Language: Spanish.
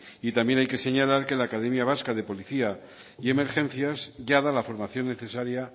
y también hay que señalar que la academia vasca de policía y emergencias ya da la formación necesaria